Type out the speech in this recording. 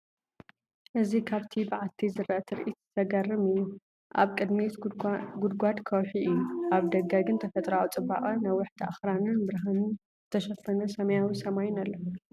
እዚ ካብቲ በዓቲ ዝረአ ትርኢት ዘገርም'ዩ፤ ኣብ ቅድሚት ጉድጓድ ከውሒ'ዩ፡ ኣብ ደገ ግን ተፈጥሮኣዊ ጽባቐ ነዋሕቲ ኣኽራንን ብብርሃን ዝተሸፈነ ሰማያዊ ሰማይን ኣሎ።